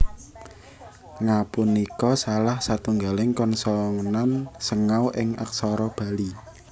Nga punika salah satunggaling konsonan sengau ing aksara Bali